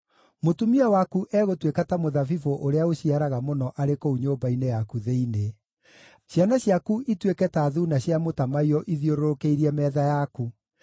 Mũtumia waku egũtuĩka ta mũthabibũ ũrĩa ũciaraga mũno arĩ kũu nyũmba-inĩ yaku thĩinĩ; ciana ciaku ituĩke ta thuuna cia mũtamaiyũ ithiũrũrũkĩirie metha yaku.